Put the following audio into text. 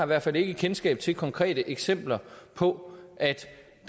hvert fald ikke kendskab til konkrete eksempler på